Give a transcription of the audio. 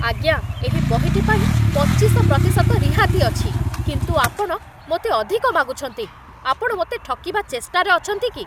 ଆଜ୍ଞା! ଏହି ବହିଟି ପାଇଁ ପଚିଶ ପ୍ରତିଶତ ରିହାତି ଅଛି, କିନ୍ତୁ ଆପଣ ମୋତେ ଅଧିକ ମାଗୁଛନ୍ତି। ଆପଣ ମୋତେ ଠକିବା ଚେଷ୍ଟାରେ ଅଛନ୍ତି କି?